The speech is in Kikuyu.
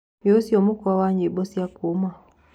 Nĩũcĩo mũkwa wa nyĩmbo cĩa kuũma